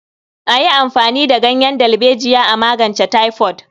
A yi amfani da ganyen dalbejiya a magance taifod.